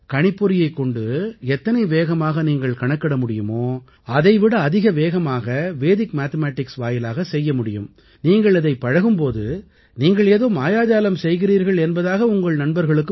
கணிப்பொறியைக் கொண்டு எத்தனை வேகமாக நீங்கள் கணக்கிட முடியுமோ அதை விட அதிக வேகமாக வெடிக் மேத்தமேட்டிக்ஸ் வாயிலாக செய்ய முடியும் நீங்கள் இதைப் பழகும் போது நீங்கள் ஏதோ மாயாஜாலம் செய்கிறீர்கள் என்பதாக உங்கள் நண்பர்களுக்கு